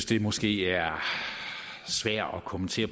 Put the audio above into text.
det måske er svært at kommentere